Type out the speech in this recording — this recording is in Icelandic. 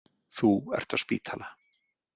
Þú ert á spítala.